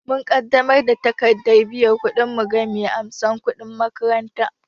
Mun ƙaddamar da takardar biyan kuɗinmu ga mai amsan kudin makaranta